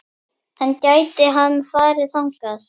En gæti hann farið þangað?